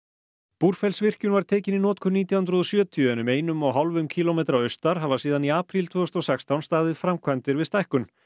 Búrfellsvirkjun var tekin í notkun nítján hundruð og sjötíu en um einum og hálfum kílómetra austar hafa síðan í apríl tvö þúsund og sextán staðið framkvæmdir við stækkun